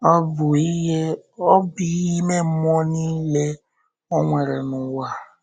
Ọ́ bụ ihe Ọ́ bụ ihe ime mmụọ niile Ọ nwere n’ụwa.